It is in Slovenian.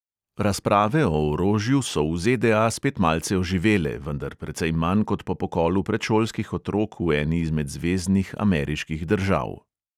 Razprave o orožju so v ZDA spet malce oživele, vendar precej manj kot po pokolu predšolskih otrok v eni izmed zveznih ameriških držav.